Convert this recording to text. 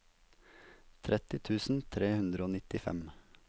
tretti tusen tre hundre og nittifem